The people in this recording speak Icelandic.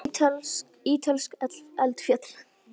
Ítölsk eldfjöll.